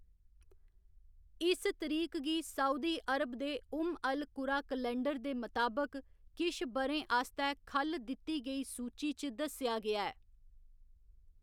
इस तरीक गी सऊदी अरब दे उम्म अल कुरा कैलेंडर दे मताबक किश ब'रें आस्तै ख'ल्ल दित्ती गेई सूची च दस्सेआ गेआ ऐ।